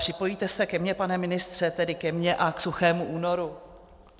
Připojíte se ke mně, pane ministře, tedy ke mně a k suchému únoru?